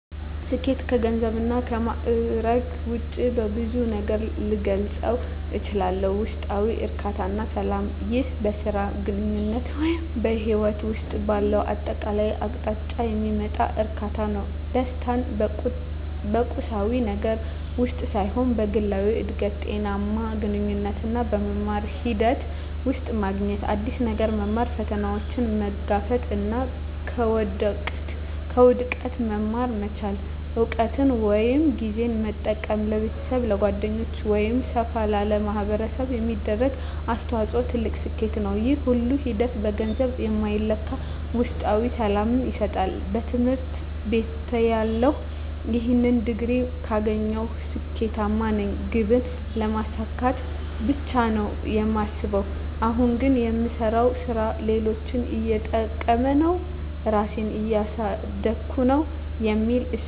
ስኬት ከገንዘብ እና ከማእረግ ውጭ በብዙ ነገር ልገልፀው እችላልሁ። ውስጣዊ እርካታ እና ሰላም ይህ በሥራ፣ በግንኙነት ወይም በሕይወት ውስጥ ባለው አጠቃላይ አቅጣጫ የሚመጣ እርካታ ነው። ደስታን በቁሳዊ ነገር ውስጥ ሳይሆን በግላዊ እድገት፣ ጤናማ ግንኙነቶች እና በመማር ሂደት ውስጥ ማግኘት። አዲስ ነገር መማር፣ ፈተናዎችን መጋፈጥ እና ከውድቀት መማር መቻል። እውቀትን ወይም ጊዜን በመጠቀም ለቤተሰብ፣ ለጓደኞች ወይም ሰፋ ላለ ማኅበረሰብ የሚደረግ አስተዋጽኦ ትልቅ ስኬት ነው። ይህ ሁሉ ሂደት በገንዘብ የማይለካ ውስጣዊ ሰላምን ይሰጣል። በትምህርት ቤትተያለሁ "ይህን ዲግሪ ካገኘሁ ስኬታማ ነኝ" ግብን ስለማሳካት ብቻ ነው የማስበው። አሁን ግን "የምሰራው ሥራ ሌሎችን እየጠቀመ ነው? ራሴን እያሳደግኩ ነው?" የሚል እሳቤ ነው ያለኝ።